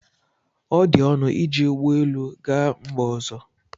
ọ dị ọnụ iji ụgbọ elu gaa mba ọzọ?